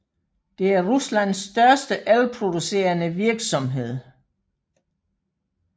Det er Ruslands største elproducerende virksomhed